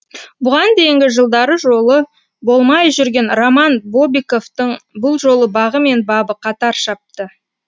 бұған дейінгі жылдары жолы болмай жүрген роман бобиковтың бұл жолы бағы мен бабы қатар шапты